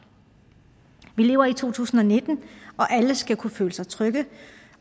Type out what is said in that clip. vi lever i to tusind og nitten og alle skal kunne føle sig trygge